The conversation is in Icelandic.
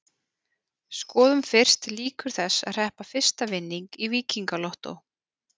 Skoðum fyrst líkur þess að hreppa fyrsta vinning í Víkingalottó.